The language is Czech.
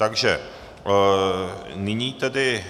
Takže nyní tedy